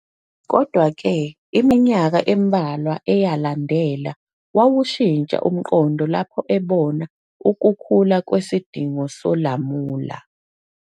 Kodwa-ke, iminyaka embalwa eyalandela, wawushintsha umqondo lapho ebona ukukhula kwesidingo solamula.